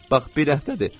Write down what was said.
Bax bir həftədir.